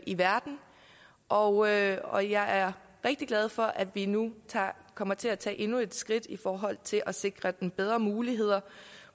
i verden og jeg og jeg er rigtig glad for at vi nu kommer til at tage endnu et skridt i forhold til at sikre dem bedre muligheder